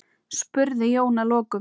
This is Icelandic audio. spurði Jón að lokum.